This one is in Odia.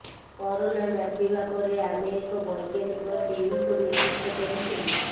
କରୋନା ବ୍ୟାପିବା ପରେ ଆମେ ଏକ ବୈଜ୍ଞାନିକ ଟିମ୍ଙ୍କୁ ନିଯୁକ୍ତ କରିଥିଲୁ